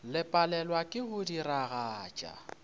le palelwa ke go diragatša